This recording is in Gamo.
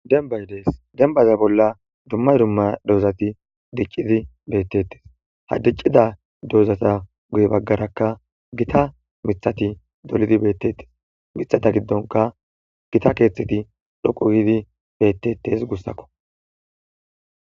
Denbay dees dembaza bolla dumma dumma dozati diccidi beettettes ha diccida dozata guye baggarakka gita mithati dolidi beettettes mithata giddonka gita keeththeti dhoqu gidi bettettes gussakko.